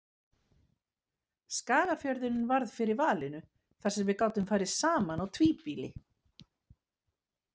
Skagafjörðurinn varð fyrir valinu þar sem við gátum farið saman á tvíbýli.